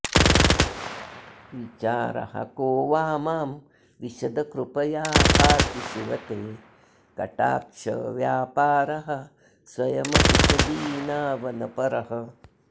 विचारः को वा मां विशद कृपया पाति शिव ते कटाक्षव्यापारः स्वयमपि च दीनावनपरः